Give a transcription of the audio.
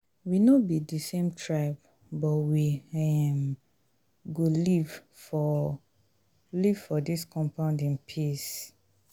we no be di same tribe but we um go live for live for dis compound in peace.